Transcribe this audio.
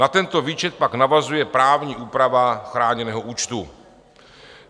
Na tento výčet pak navazuje právní úprava chráněného účtu.